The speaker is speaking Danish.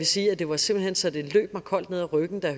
sige at det var simpelt hen så det løb mig koldt ned ad ryggen da